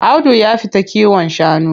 Audu ya fita kiwon shanu.